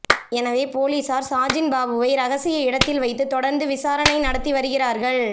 எனவே போலீசார் சாஜின்பாபுவை ரகசிய இடத்தில் வைத்து தொடர்ந்து விசாரணை நடத்தி வருகிறார்கள்